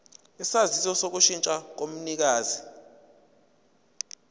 isaziso sokushintsha komnikazi